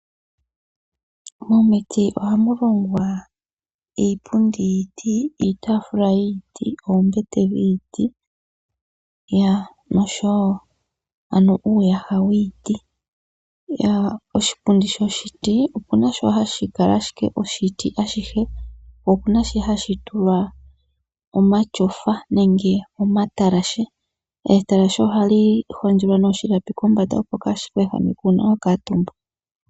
Momiti ohamu longwa iipundi yiiti ,iitaafula yiiti ,oombete dhiiti oshowo uuyaha yiiti. Oshipundi shoshiti opuna shoka hashi kala ashike oshiti ashihe, po opuna shoka hashi tulwa omatyofa nenge omatalashe .Etalashe ohali hondjelwa oshilapi kombanda opo kashiku ehameke uuna to kuutumba.